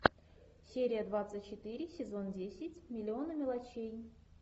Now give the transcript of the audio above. серия двадцать четыре сезон десять миллионы мелочей